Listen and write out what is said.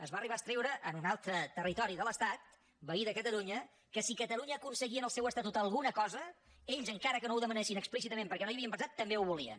es va arribar a escriure en un altre territori de l’estat veí de catalunya que si catalunya aconseguia en el seu estatut alguna cosa ells encara que no ho demanessin explícitament perquè no hi havien pensat també ho volien